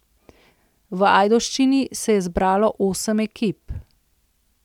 V Ajdovščini se je zbralo osem ekip.